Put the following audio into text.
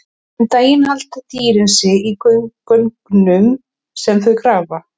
Um daginn halda dýrin sig í göngum sem þau grafa.